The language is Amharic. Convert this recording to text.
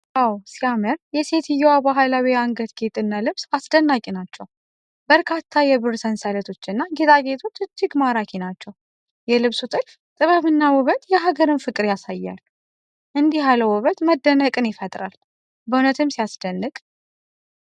ዋው ሲያምር! የሴትየዋ ባህላዊ የአንገት ጌጥና ልብስ አስደናቂ ናቸው። በርካታ የብር ሰንሰለቶች እና ጌጣጌጦች እጅግ ማራኪ ናቸው። የልብሱ ጥልፍ ጥበብ እና ውበት የሀገር ፍቅርን ያሳያል። እንዲህ ያለው ውበት መደነቅን ይፈጥራል። በእውነትም ሲያስደንቅ!